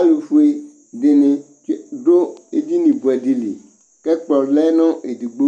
Zlʊfʊe dini dʊ edini buɛdɩ li K3kplɔ lɛ nedigbo